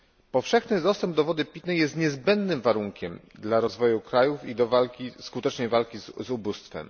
Powszechny dostęp do wody pitnej jest niezbędnym warunkiem dla rozwoju krajów i skutecznej walki z ubóstwem.